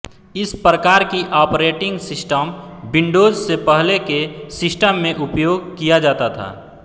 इस प्रकार की ऑपरेटिंग सिस्टम विंडोज़ से पहले के सिस्टम में उपयोग किया जाता था